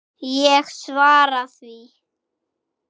Ég svara því.